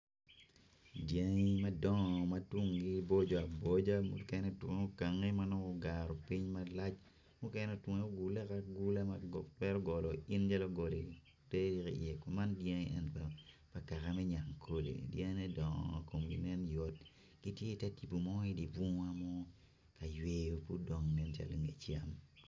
Dyangi madongo ma tungi boco a boca ma ogaropiny ma tunge ogule agula ma bedo calo goli man dyangi eni dyangi pa yangkole.